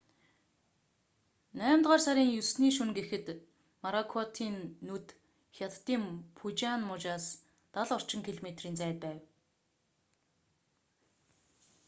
наймдугаар сарын 9-ний шөнө гэхэд моракотын нүд хятадын фужиан мужаас дал орчим километрийн зайд байв